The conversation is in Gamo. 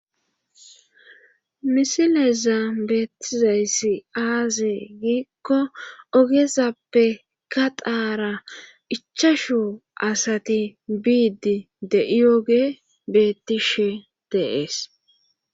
Misileza beettizayssi aazee giikko ogezappe ka daara ichashu asati biidi de7i oge beettishe deees